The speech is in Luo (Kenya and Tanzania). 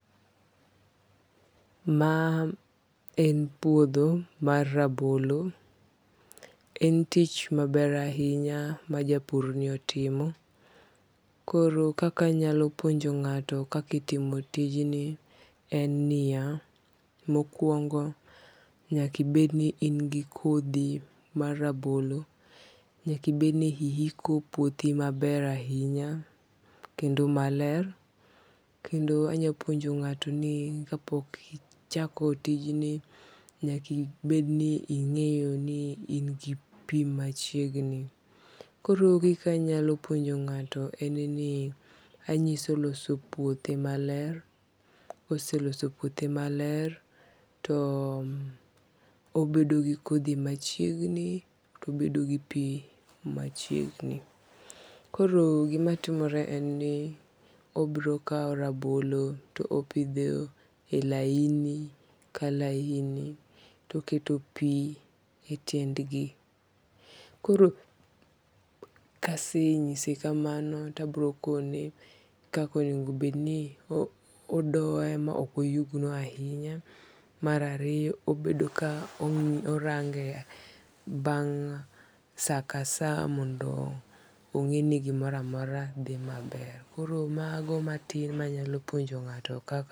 Ma en puotho mar rabolo, en tich maber ahinya majapurni otimo, koro kaka anyalo puonjo nga'to kaka itimo tijni en ni ya mokuongo' nyaka ibed ni in gi kothi mar rabolo, nyaka ibed ni ihiko puothi maber ahinya kendo maler, kendo anyalo puonjo nga'to ni ka pok ichako tijni nyakibed ni inge'yo ni in gi pi machiegni koro kika anyalo puonjo nga'to en ni anyise aloso puothe maler, koselosos puothe maler too obedo gi kothi machiegni to obedo gi pi machiegni, koro gimatimore en ni obro kawo rabolo to opithe e laini ka laini to oketo pi e tiendgi, koro kasenyise kamano to abrokone kaka onego bed ni odoye ma okoyugno ahinya, marariyo obobedo ka orange' bang' saa ka saa mondo onge' ni gimoro amora thi maber koro mago matin manyalo puonjo nga'to kaka.